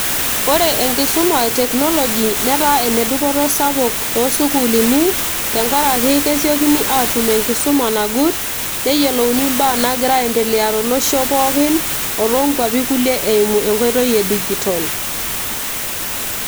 ore enkisuma e teknoloji netaa ene dupoto sapuk toosukuuluni tenkarake kesiokini atum enkisuma nagut neyiolouni imbaa naagira ae endelea tolosho pookin o toonkuapi kulie emu enkoitoi e digital.